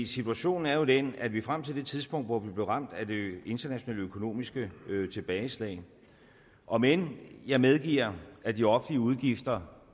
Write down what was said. situationen er jo den at vi frem til det tidspunkt hvor vi blev ramt af det internationale økonomiske tilbageslag om end jeg medgiver at de offentlige udgifter